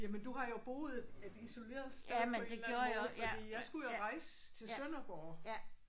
Jamen du har jo boet et et isoleret sted på en eller anden måde fordi jeg skulle jo rejse til Sønderborg